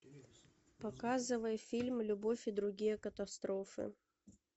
показывай фильм любовь и другие катастрофы